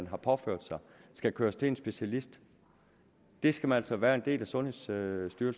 har påført sig skal køres til en specialist skal man altså være en del af sundhedsstyrelsen